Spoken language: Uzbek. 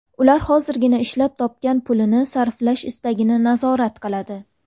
Ular hozirgina ishlab topgan pulini sarflash istagini nazorat qiladi.